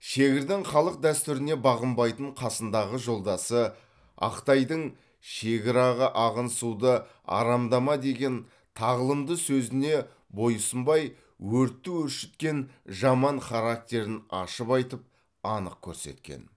шегірдің халық дәстүріне бағынбайтын қасындағы жолдасы ақтайдың шегір аға ағын суды арамдама деген тағылымды сөзіне бой ұсынбай өртті өршіткен жаман характерін ашып айтып анық көрсеткен